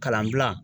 Kalan dilan